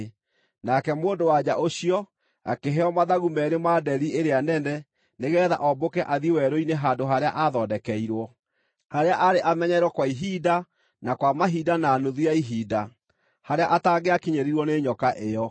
Nake mũndũ-wa-nja ũcio akĩheo mathagu meerĩ ma nderi ĩrĩa nene nĩgeetha ombũke athiĩ werũ-inĩ handũ harĩa aathondekeirwo, harĩa aarĩ amenyererwo kwa ihinda, na kwa mahinda na nuthu ya ihinda, harĩa atangĩakinyĩrirwo nĩ nyoka ĩyo.